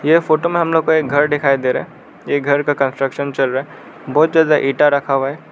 यह फोटो में हम लोग को एक घर दिखाई दे रहा है यह घर का कंस्ट्रक्शन चल रहा है बहुत ज्यादा इंटा रखा हुआ है।